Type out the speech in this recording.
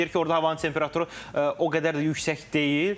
Hətta deyir ki, orda havanın temperaturu o qədər də yüksək deyil.